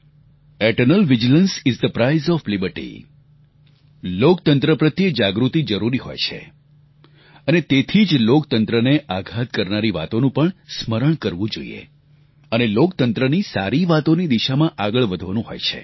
eternal vigilance is the price of liberty લોકતંત્ર પ્રત્યે જાગૃતિ જરૂરી હોય છે અને તેથી જ લોકતંત્રને આઘાત કરનારી વાતોનું પણ સ્મરણ કરવું જોઈએ અને લોકતંત્રની સારી વાતોની દિશામાં આગળ વધવાનું હોય છે